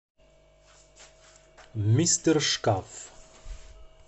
мистер шкаф